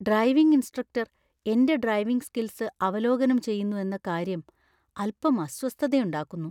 Driving instructor എന്റെ driving skills അവലോകനം ചെയ്യുന്നു എന്ന കാര്യം അൽപ്പം അസ്വസ്ഥതയുണ്ടാക്കുന്നു.